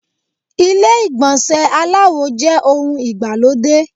Ilé ìgbọ̀nsẹ̀ aláwo jẹ́ ohun ìgbàlódé.